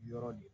Yɔrɔ de